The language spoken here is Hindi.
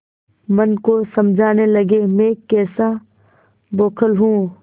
मन को समझाने लगेमैं कैसा बौखल हूँ